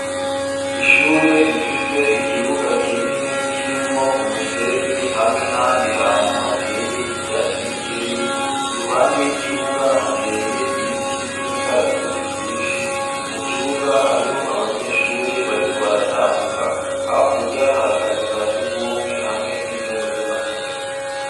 Ishure, rifise ikibuga kinini, kirimwo umusenyi, hamwe n'ahandi hantu, hateye ivyatsi bikeyi; iruhande y'ikibuga, hateye ibiti vy'imikaratusi, vyinshi; mu kibuga, hariho abanyeshure bariko baratambuka, hakurya, hari akazu ka surwumwe, hamwe n'ivyumba vy'amasomero.